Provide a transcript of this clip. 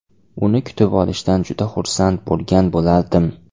Uni kutib olishdan juda xursand bo‘lgan bo‘lardim.